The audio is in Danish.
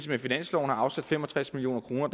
med finansloven har afsat fem og tres million kroner